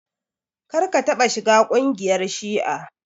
Kar ka taɓa shiga kungiyar shi'a!